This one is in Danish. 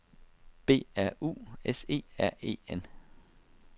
B R U S E R E N